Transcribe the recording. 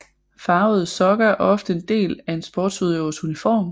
Farvede sokker er ofte en del af en sportsudøvers uniform